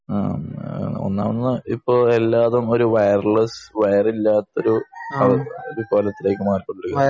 ആഹ് ഒന്നാമത് ഇപ്പൊ എല്ലാതും ഒരു വൈറൽസ് വൈറില്ലാത്ത ഒരു ഒരു കാലത്തിലേക്ക് മാറിക്കൊണ്ടിരിക്കേണ്